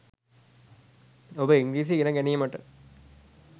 ඔබ ඉංග්‍රීසි ඉගෙන ගැනීමට